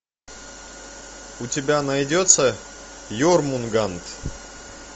у тебя найдется ермунганд